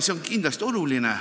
See on kindlasti oluline.